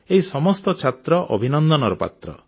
ଏହି ସମସ୍ତ ଛାତ୍ର ଅଭିନନ୍ଦନର ପାତ୍ର